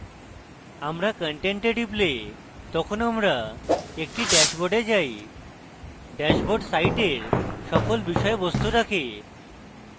আমরা content a টিপলে তখন আমরা একটি ড্যাশবোর্ডে lays ড্যাশবোর্ড সাইটের সকল বিষয়বস্তু রাখে